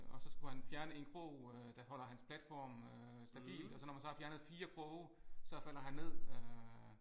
Og så skulle han fjerne en krog øh der holder hans platform øh stabil og så når man så har fjernet 4 kroge så falder han ned øh